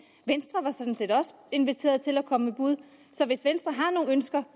venstre var sådan set også inviteret til at komme med bud så hvis venstre har nogle ønsker